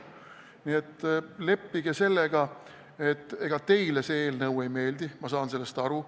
Nii et leppige sellega, et see eelnõu teile ei meeldi, ma saan sellest aru.